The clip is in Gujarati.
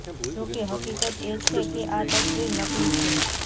જોકે હકીકત એ છે કે આ તસવીર નકલી છે